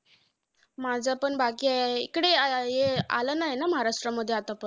माझं पण बाकी आहे. इकडे अं ये आलं नाहीये महाराष्ट्रमध्ये आतापर्यंत.